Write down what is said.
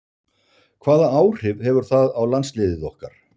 Hvaða áhrif hefur það á landsliðið okkar?